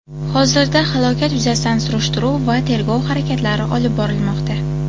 Hozirda holat yuzasidan surishtiruv va tergov harakatlari olib borilmoqda.